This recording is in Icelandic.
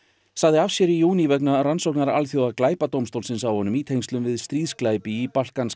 sagði af sér í júní vegna rannsóknar Alþjóða á honum í tengslum við stríðsglæpi í